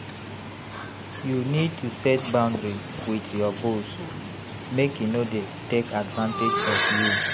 You need to set boundary with your boss, make e no dey take advantage of you.